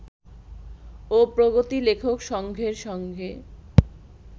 ও প্রগতি লেখক সংঘের সঙ্গে